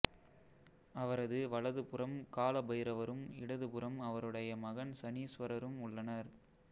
அவரது வலது புறம் கால பைரவரும் இடது புறம் அவருடைய மகன் சனீசுவரரும் உள்ளனர்